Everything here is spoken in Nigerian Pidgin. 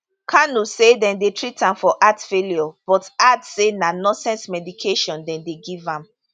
kanu say dem dey treat am for heart failure but add say na nonsense medication dem dey give am